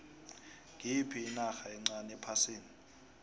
ngiyiphi inarha encani ephasini